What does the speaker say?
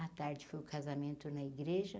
À tarde foi o casamento na igreja.